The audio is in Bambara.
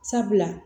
Sabula